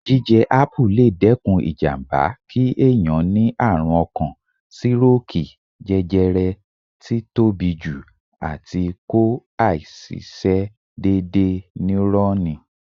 Jíjẹ Ápù le dẹ́kun ìjàmbá kí ẹ̀yàn ni àrùn ọkàn, sírókìì, jẹjẹrẹ, tí tóbi jù, àti kò àìṣisẹ́ déédéé níúrọ́nì.